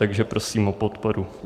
Takže prosím o podporu.